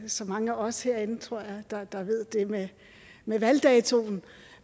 så mange af os herinde der ved det med med valgdatoen